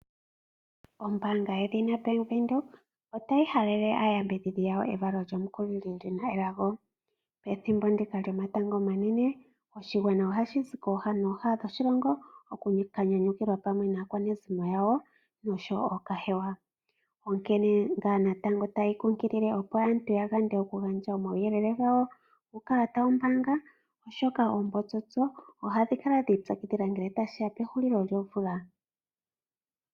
Ombaanga yedhina Bank Windhoek otayi halele aayambidhidhi yawo evalo lyomukulili lina elago. Pethimbo ndika lyomatango omanene oshigwana ohashi zi kooha nooha dhoshilongo oku ka nyanyukilwa pamwe naakwanezimo yawo noshowo ookahewa, onkene natango tayi kunkilile opo aantu ya yande oku gandja omauyelele gawo ku kehe omuntu to adha, oshoka oombotsotso ohadhi kala dhi i pyakidhila ngele tashiya pehulilo lyomvula.